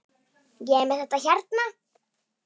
Ég er með þetta hérna.